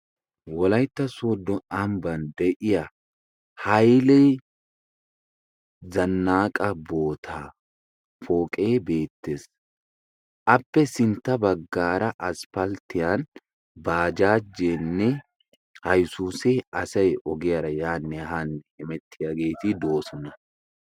Wolaytta soddo ambban de'iya Haile zannaqqa boota pooqe beettees. appe sintta baggaara aspalttiyan bajaajenne Iyzzuuse asay ogiyaara yaanne haanne hemettiyaageeti de'oosona.